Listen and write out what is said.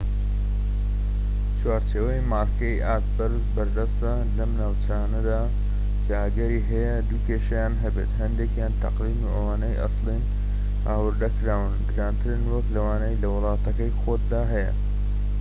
چوارچێوەی مارکەی ئاست بەرز بەردەستە لەم ناوچانەدا کە ئەگەری هەیە دوو كێشەیان هەبێت هەندێكیان تەقلیدن وە ئەوانەی ئەسڵین و هاوردە کراون گرانترن وەك لەوانەی لە وڵاتەکەی خۆتدا هەیە